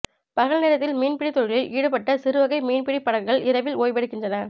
பகல் நேரத்தில் மீன்பிடித் தொழிலில் ஈடுபட்ட சிறுவகை மீன்பிடி படகுகள் இரவில் ஓய்வெடுக்கின்றன